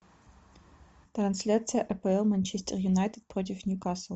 трансляция апл манчестер юнайтед против ньюкасл